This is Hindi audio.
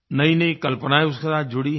नईनई कल्पनायें उसके साथ जुड़ी हैं